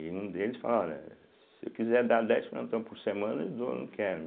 E um deles falaram, olha, se eu quiser dar dez plantão por semana, eu dou, eu não quero.